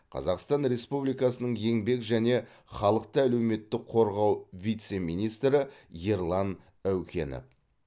қазақстан республикасының еңбек және халықты әлеуметтік қорғау вице министрі ерлан әукенов